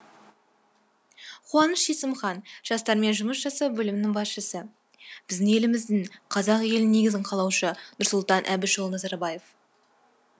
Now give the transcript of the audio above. қуаныш есімхан жастармен жұмыс жасау бөлімінің басшысы біздің еліміздің қазақ елінің негізін қалаушы нұрсұлтан әбішұлы назарбаев